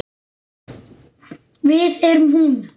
Við erum hún.